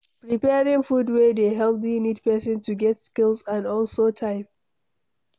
preparing food wey dey healthy need person to get skills and also time